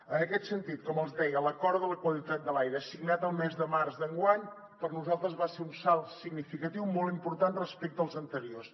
en aquest sentit com els deia l’acord per la qualitat de l’aire signat el mes de març d’enguany per nosaltres va ser un salt significatiu molt important respecte als anteriors